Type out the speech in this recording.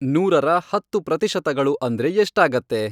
ನೂರರ ಹತ್ತು ಪ್ರತಿಶತಗಳು ಅಂದ್ರೆ ಎಷ್ಟಾಗತ್ತೆ